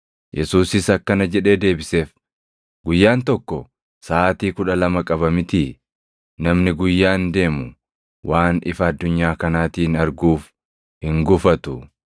Yesuusis akkana jedhee deebiseef; “Guyyaan tokko saʼaatii kudha lama qaba mitii? Namni guyyaan deemu waan ifa addunyaa kanaatiin arguuf hin gufatu.